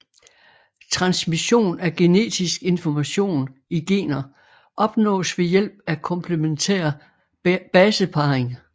Transmission af genetisk information i gener opnås ved hjælp af komplementær baseparring